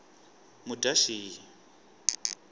mudyaxihi